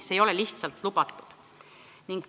See ei ole lihtsalt lubatud!